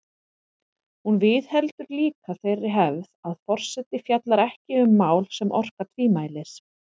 Hún viðheldur líka þeirri hefð að forseti fjallar ekki um mál sem orka tvímælis.